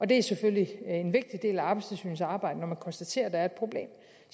det er selvfølgelig en vigtig del af arbejdstilsynets arbejde når de konstaterer at der er et problem